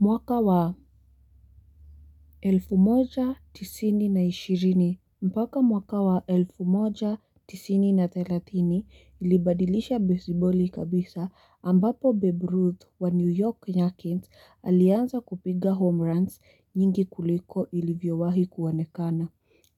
Mwaka wa elfu moja, tisini na ishirini, mpaka mwaka wa elfu moja, tisini na telatini, ilibadilisha bezi boli kabisa, ambapo Babe Ruth wa New York yankees alianza kupiga homeruns nyingi kuliko ilivyo wahi kuonekana.